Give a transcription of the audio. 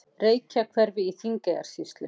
Reykjahverfi í Þingeyjarsýslu.